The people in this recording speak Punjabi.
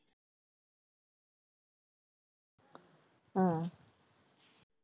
ਹਾਂ